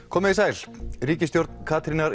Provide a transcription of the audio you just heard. komiði sæl ríkisstjórn Katrínar